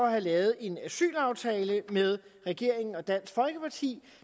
at have lavet en asylaftale med regeringen og dansk folkeparti